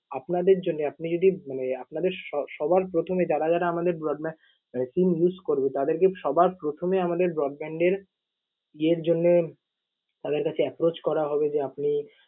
আপনাদের জন্যে, আপনি যদি মানে আপনাদের স~ সবার প্রথমে যারা যারা আমাদের broadbandSIM use করবে তাদেরকে সবার প্রথমে আমাদের broadband এর ইয়ের জন্যে তাদের কাছে approach করা হবে যে আপনি